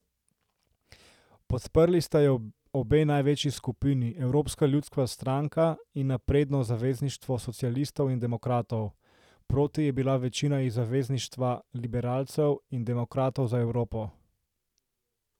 Podprli sta jo obe največji skupini, Evropska ljudska stranka in Napredno zavezništvo socialistov in demokratov, proti je bila večina iz Zavezništva liberalcev in demokratov za Evropo.